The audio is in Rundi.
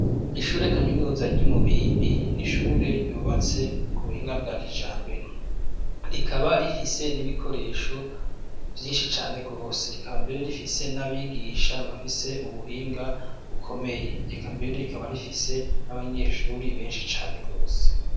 Ishure kaminuza ry'imubimbi ,n'ishure ryubatse ku buhinga bwa kijambere, rikaba rifise n'ibikoresho vyinshi cane gose, rikaba mbere rifise n'abigisha bafise ubuhinga bukomeye, eka mbere rikaba rifise n'abanyeshuri benshi cane gose.